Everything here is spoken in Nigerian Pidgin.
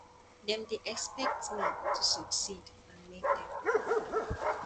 dem dey expect me to succeed and make dem proud